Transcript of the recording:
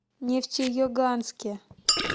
нефтеюганске